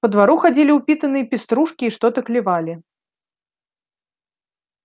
по двору ходили упитанные пеструшки и что-то клевали